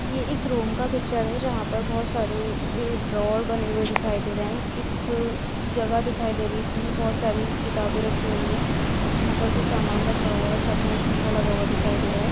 यह एक रूम का पिक्चर है जहां पर बोहोत सारे ए ड्रॉर बने हुए दिखाई दे रहे हैं| एक जगह दिखाई दे रही है जिनमें बहुत सारी किताबें रखी हुई हैं| यहाँ पर कुछ सामान रखा हुआ है छत में एक पंखा लगा हुआ दिखाई दे रहा है।